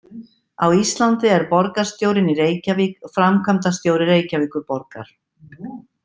Á Íslandi er borgarstjórinn í Reykjavík framkvæmdastjóri Reykjavíkurborgar.